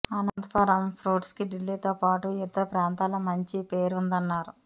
అనంతపురం ఫ్రూట్స్కి ఢిల్లీతో పాటు ఇతర ప్రాంతాల్లో మంచి పేరు ఉందన్నారు